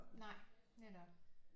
Nej netop